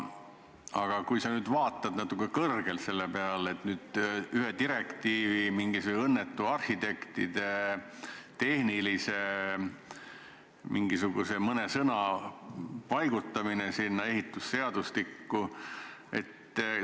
Aga kui sa nüüd vaatad natuke kõrgemalt selle peale, et ühe direktiivi tõttu tuli mingisuguse õnnetu tehnilise normi tõttu paigutada arhitektid sinna ehitusseadustikku?